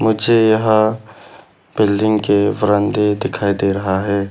मुझे यहां बिल्डिंग के बरांदे दिखाई दे रहा है।